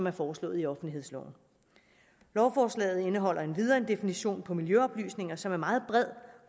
er foreslået i offentlighedsloven lovforslaget indeholder endvidere en definition på miljøoplysninger som er meget bred